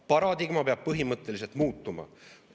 Paradigma peab põhimõtteliselt muutuma.